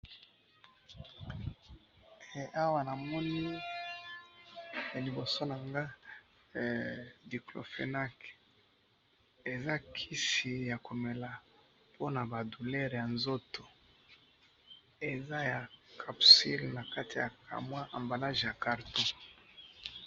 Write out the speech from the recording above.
awa na moni na liboso nanga diclofenac eza kisi yako mela po na ba douleur ya nzoto eza ya capsule na kati ya ambalage ya carton